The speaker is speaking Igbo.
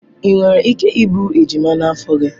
Ị nwere ike iburu ejima n'afọ gị.